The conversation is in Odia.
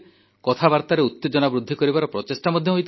କଥାବାର୍ତ୍ତାରେ ଉତେଜନା ବୃଦ୍ଧି କରିବାର ପ୍ରଚେଷ୍ଟା ମଧ୍ୟ ହୋଇଥିଲା